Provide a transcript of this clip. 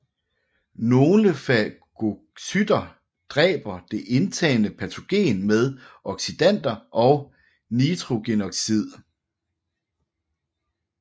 Nogle fagocytter dræber det indtagne patogen med oxidanter og nitrogenoxid